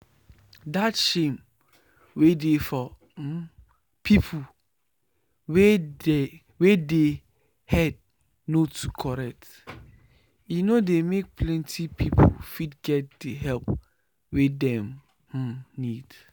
that shame wey dey for um people wey dey head no too correct e no dey make plenty people fit get the help wey dem um need